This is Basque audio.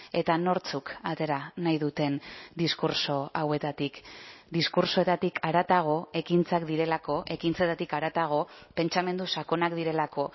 eta nortzuk atera nahi duten diskurtso hauetatik diskurtsoetatik haratago ekintzak direlako ekintzetatik haratago pentsamendu sakonak direlako